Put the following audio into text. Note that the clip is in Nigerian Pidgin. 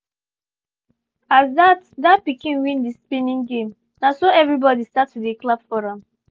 as that that pikin win the spinning game na so everybody start to dey clap for am